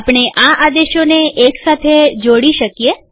આપણે આ આદેશોને એક સાથે જોડી શકીએ